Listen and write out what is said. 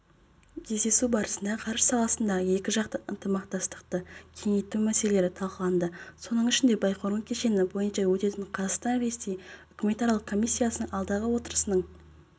кездесу барысында ғарыш саласындағы екіжақты ынтымақтастықты кеңейту мәселелері талқыланды соның ішінде байқоңыр кешені бойынша өтетін қазақстан-ресей үкіметаралық комиссиясының алдағы отырысының